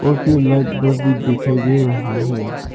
और फिर light bulb भी दिखाई दे रहा है।